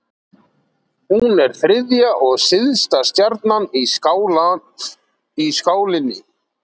Hún er þriðja og syðsta stjarnan í skálinni.